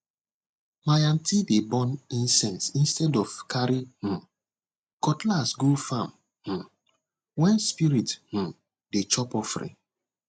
my aunty dey burn incense instead of carry um cutlass go farm um when spirit um dey chop offering